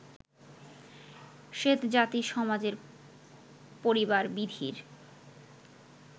শ্বেতজাতি সমাজে পরিবারবিধির